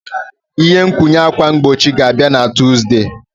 Ihe nkwụnye ákwà mgbochi ga-abịa na Tuzdee.